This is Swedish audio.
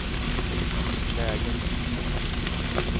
läge